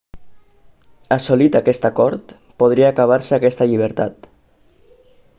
assolit aquest acord podria acabar-se aquesta llibertat